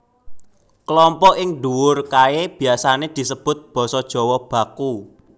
Kelompok ing nduwur kaé biasané disebut basa Jawa baku